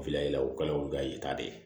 Filɛ o kala o bɛ ka yata de